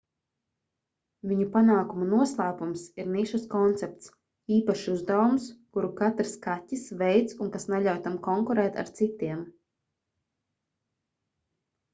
viņu panākumu noslēpums ir nišas koncepts īpašs uzdevums kuru katrs kaķis veic un kas neļauj tam konkurēt ar citiem